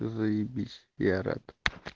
заебись я рад